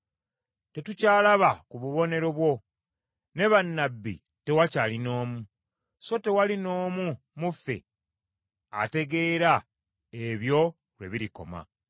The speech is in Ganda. Tetukyalaba ku bubonero bwo; ne bannabbi tewakyali n’omu. So tewali n’omu mu ffe ategeera ebyo lwe birikoma.